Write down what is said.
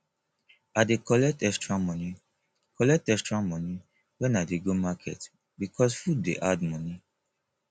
i dey collect extra moni collect extra moni wen i dey go market because food dey add moni